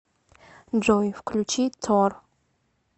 джой включи тор